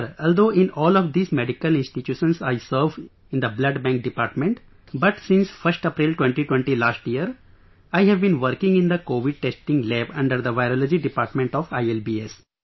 Sir, although in all of these medical institutions I served in the blood bank department, but since 1st April, 2020 last year, I have been working in the Covid testing lab under the Virology department of ILBS